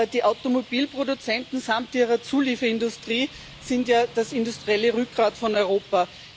Die Automobilproduzenten samt ihrer Zulieferindustrie sind ja das industrielle Rückgrat Europas.